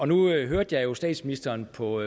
nu hørte jeg jo statsministeren på